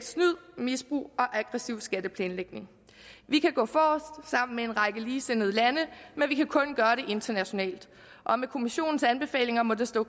snyd misbrug og aggressiv skatteplanlægning vi kan gå forrest sammen med en række ligesindede lande men vi kan kun gøre det internationalt og med kommissionens anbefalinger må det stå